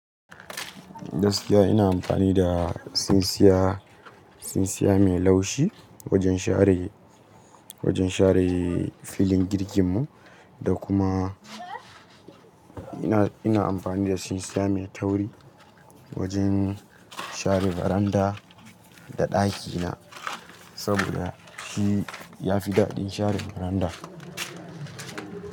Gaskiya ina amfani da tsintsiya, tsintsiya mai laushi wajen share, wajen share filin jirgin mu, da kuma ina, ina amfani da tsintsiya mai tauri, wajen share beranda da ɗakina saboda shi ya fi daɗin share veranda.